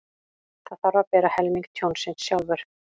Þarf að bera helming tjónsins sjálfur